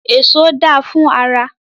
Èso da fún ara.